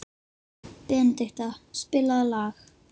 Benedikta, spilaðu lag.